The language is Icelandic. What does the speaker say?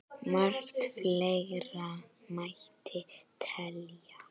Margt fleira mætti telja.